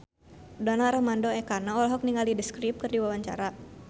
Donar Armando Ekana olohok ningali The Script keur diwawancara